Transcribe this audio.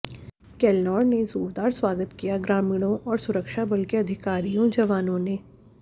केलनोर ने जोरदार स्वागत किया ग्रामीणो और सुरक्षा बल के अधिकारियो जवानो ने